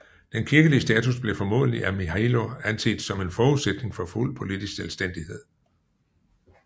Den kirkelige status blev formodentlig af Mihailo anset som en forudsætning for fuld politisk selvstændighed